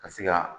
Ka se ka